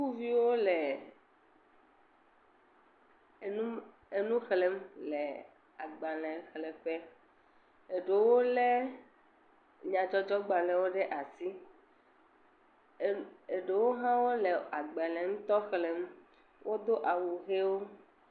Sukuviwo le, enu xlem le agbalẽ xlẽ ƒe, eɖewo lé nyadzɔdzɔ gbalẽwo ɖe asi, eɖewo ha le agbalẽ ŋutɔ xlem, wo do awu ɣiewo.